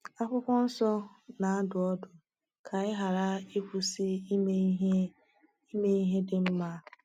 Akwụkwọ Nsọ na-adụ ọdụ: “Ka anyị ghara ịkwụsị ime ihe ime ihe dị mma.”